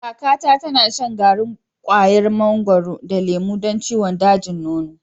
Kakata tana shan garin kwayar mangwaro da lemo don ciwon dajin nono.